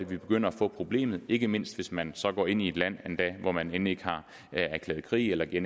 vi begynder at få problemet ikke mindst hvis man så går ind i et land hvor man end ikke har erklæret krig eller ikke